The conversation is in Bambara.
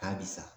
A bi sa